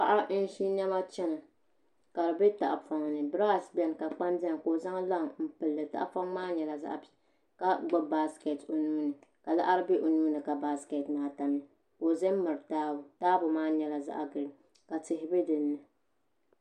Paɣa n ʒi niɛma chɛna ka di bɛ tahapoŋ ni birash biɛni ka kpama biɛni ka o zaŋ laŋ n pilli tahapoŋ maa nyɛla zaɣ piɛlli ka gbubi baskɛt o nuuni ka laɣari bɛ o nuuni ka baskɛt maa tamya ka o za n miri taabo taabo maa nyɛla zaɣ giriin ka tihi bɛ dinni